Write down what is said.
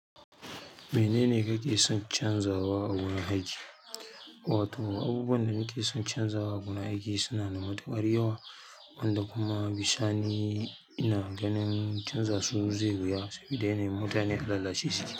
Menene kake son canzawa a wurin aiki? Abubuwan da nake son canzawa a wurin aiki suna da matuƙar yawa, wanda kuma bisani ina ganin canza su zai wuya saboda mutane a lalace suke.